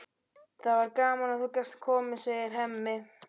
Það var gaman að þú gast komið, segir Hemmi.